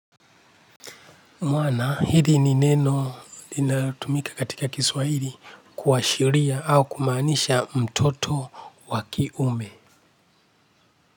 Mwanaume ni neno linatumika katika Kiswahili kuashiria au kumaanisha mtoto wa kiume.